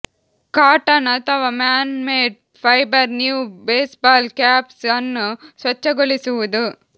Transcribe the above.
cotton ಅಥವಾ man made fibre new baseball caps ಅನ್ನು ಸ್ವಚ್ಛಗೊಳಿಸುವುದು